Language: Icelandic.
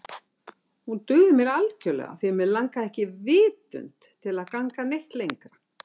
Hún dugði mér algjörlega því mig langaði ekki vitund til að ganga neitt lengra.